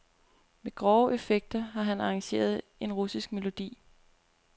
Med grove effekter havde han arrangeret en russisk melodi.